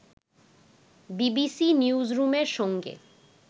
BBC নিউজরুমের সঙ্গে